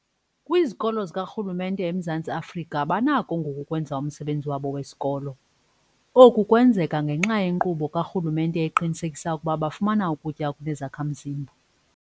Kwizikolo zikarhulumente eMzantsi Afrika banakho ngoku ukwenza umsebenzi wabo wesikolo. Oku kwenzeka ngenxa yenkqubo karhulumente eqinisekisa ukuba bafumana ukutya okunezakha-mzimba.